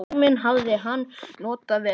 Tímann hafði hann notað vel.